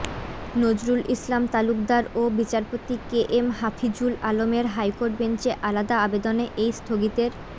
নজরুল ইসলাম তালুকদার ও বিচারপতি K M Hafizul আলমের হাইকোর্ট বেঞ্চে আলাদা আবেদনে এই স্থগিতের